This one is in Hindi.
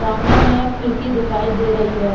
आमने में खिड़की दिखाई दे रही है।